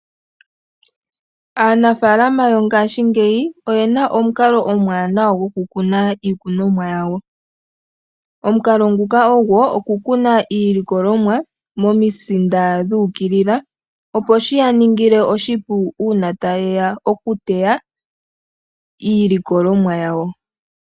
Aanafalama yongaashi ngeyi oye na omukalo omwanawa gokukuna iikunomwa yawo. Omukalo nguka ogo okukuna iilikolomwa momisinda dhu ukilila opo shi ya ningile oshipu uuna taye ya okuteya iilikolomwa yawo.